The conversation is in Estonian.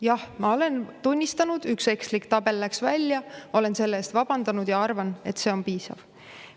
Jah, ma olen tunnistanud: üks ekslik tabel läks välja, olen selle eest vabandanud ja arvan, et see on piisav.